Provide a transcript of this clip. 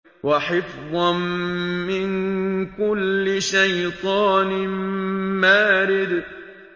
وَحِفْظًا مِّن كُلِّ شَيْطَانٍ مَّارِدٍ